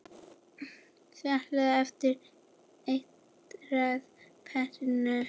Seilist eftir eitraða peðinu.